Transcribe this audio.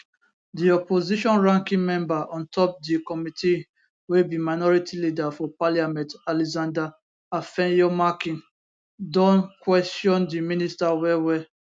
di opposition ranking member on top di committee wey be minority leader for parliament alexander afenyomarkin don kwesion di minister well well